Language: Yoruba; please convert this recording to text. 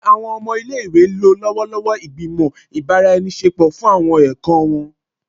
Njẹ awọn ọmọ ile-iwe lo lọwọlọwọ igbimọ ibaraenisepo fun awọn ẹkọ wọn?